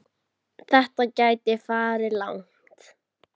Þetta gæti farið langt.